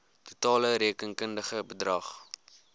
totale rekenkundige bedrag